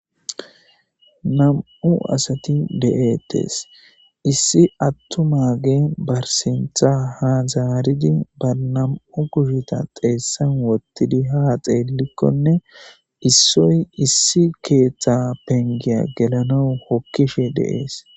Nam'u asati de'etesi, iisi atumagey barisintha ha zaarid, bar nam'u kusheta xeesani wothidi ha xelikonne issoyi issi keta penigiya gelanawu hokishe de'esi.